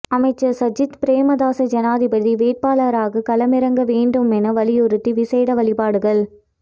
அமைச்சர் சஜித் பிரேமதாச ஜனாதிபதி வேட்பாளராக களமிறங்க வேண்டும் என வலியுறுத்தி விசேட வழிபாடுகள்